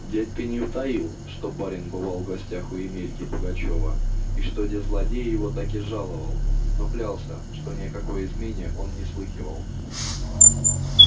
дядька не утаил что барин бывал в гостях у емельки пугачёва и что-де злодей его таки жаловал но клялся что ни о какой измене он не слыхивал